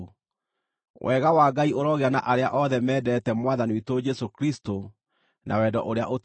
Wega wa Ngai ũrogĩa na arĩa othe mendete Mwathani witũ Jesũ Kristũ na wendo ũrĩa ũtathiraga.